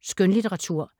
Skønlitteratur